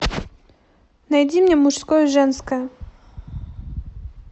найди мне мужское женское